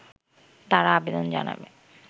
তারা আবেদন জানাবে